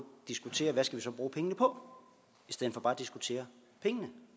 diskutere hvad vi så skal bruge pengene på i stedet for bare at diskutere pengene